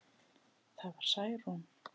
Það var Særún.